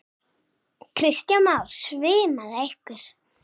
Kristján Már: Svimaði ykkur?